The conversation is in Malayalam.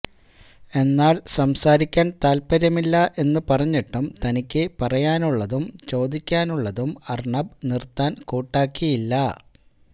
എന്നാൽ സംസാരിക്കാൻ താല്പര്യമില്ല എന്ന് പറഞ്ഞിട്ടും തനിക്ക് പറയാനുള്ളതും ചോദിക്കാനുള്ളതും അർണബ് നിർത്താൻ കൂട്ടാക്കിയില്ല